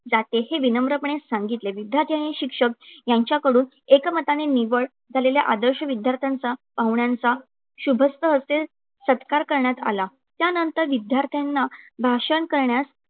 जाते हे विनम्रपणे सांगितले. विद्यार्थी आणि शिक्षक यांच्याकडून एकमताने निवड झालेल्या आदर्श विद्यार्थ्यांचा, पाहुण्यांचा शुभ हस्ते सत्कार करण्यात आला. त्यानंतर विद्यार्थ्यांना भाषण करण्यास